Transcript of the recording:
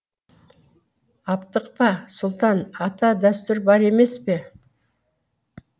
аптықпа сұлтан ата дәстүр бар емес пе